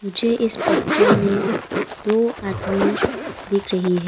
मुझे इस पिक्चर में दो आदमी दिख रही--